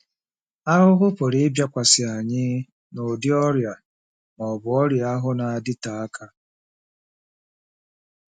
Ahụhụ pụrụ ịbịakwasị anyị n'ụdị ọrịa ma ọ bụ ọrịa ahụ na-adịte aka.